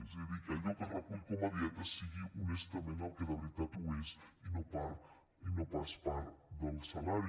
és a dir que allò que es recull com a dietes sigui honestament el que de veritat ho és i no pas part del salari